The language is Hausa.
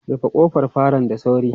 Rufe kofar falon da sauri!